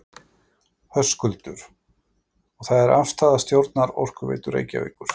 Höskuldur: Og það er afstaða stjórnar Orkuveitu Reykjavíkur?